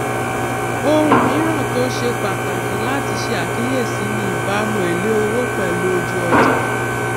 ohun míràn tó ṣe pàtàkì láti ṣe àkíyèsí ni ìbámu èlé owó pèlú ojú ọjà